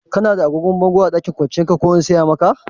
Kana da agogon bango a ɗakin kwanciyar ka ko in saya maka?